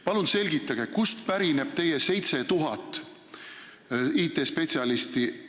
Palun selgitage, kust pärineb teie väide 7000 IT-spetsialisti kohta.